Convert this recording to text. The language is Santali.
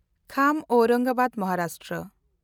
ᱠᱷᱟᱢ ᱚᱣᱨᱟᱝᱜᱟᱵᱟᱫ ᱢᱚᱦᱟᱨᱟᱥᱴᱨᱚ